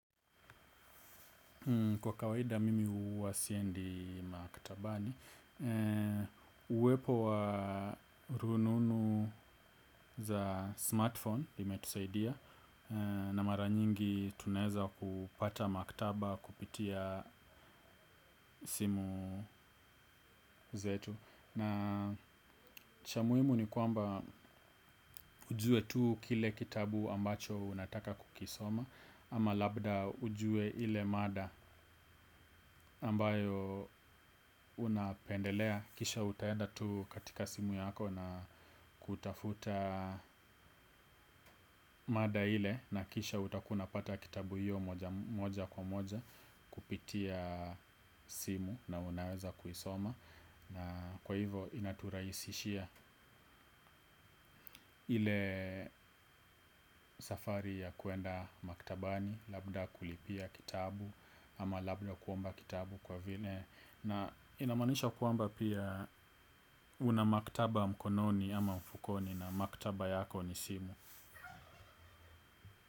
Kwa kawaida mimi huwa siendi maktabani uwepo wa rununu za smartphone imetusaidia. Na maranyingi tunaeza kupata maktaba kupitia simu zetu. Na cha muhimu ni kwamba ujue tuu kile kitabu ambacho unataka kukisoma. Ama labda ujue ile mada ambayo unapendelea. Kisha utaenda tu katika simu yako na kutafuta mada ile. Na kisha utakuwa unapata kitabu hiyo moja kwa moja kupitia simu na unaweza kuisoma. Na kwa hivo inaturaisishia ile safari ya kuenda maktabani. Labda kulipia kitabu ama labda kuomba kitabu kwa vile. Na inamanisha kwamba pia una maktaba mkononi ama mfukoni na maktaba yako ni simu.